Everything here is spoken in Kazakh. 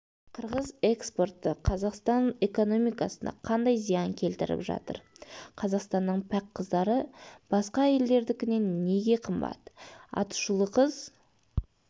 қырғыз экспорты қазақстан экономикасына қандай зиян келтіріп жатыр қазақстанның пәк қыздары басқа елдердікінен неге қымбат атышулы қыз